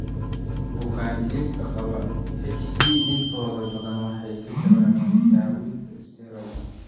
Bukaanjiifka qaba HE intooda badan waxay ka jawaabaan daawaynta isteeroodh.